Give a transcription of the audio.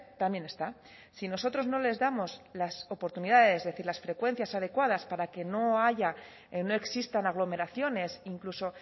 también está si nosotros no les damos la oportunidades es decir las frecuencias adecuadas para que no haya no existan aglomeraciones incluso